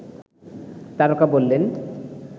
তারকা বললেন